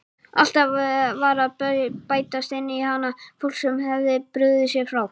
Alltaf var að bætast inn í hana fólk sem hafði brugðið sér frá.